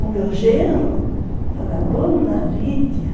O meu gênero fala, Dona Lídia.